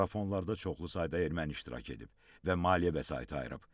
Marafonlarda çoxlu sayda erməni iştirak edib və maliyyə vəsaiti ayırıb.